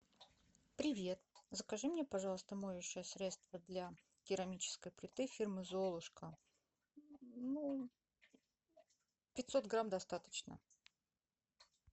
привет закажи мне пожалуйста моющее средство для керамической плиты фирмы золушка ну пятьсот грамм достаточно